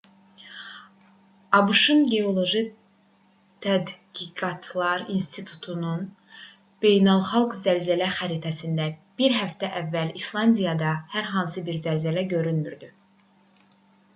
abş-ın geoloji tədqiqatlar i̇nstitutunun beynəlxalq zəlzələ xəritəsində bir həftə əvvəl i̇slandiyada hər hansı bir zəlzələ görünmürdü